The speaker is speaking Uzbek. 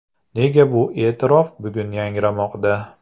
Nega bu e’tirof bugun yangramoqda?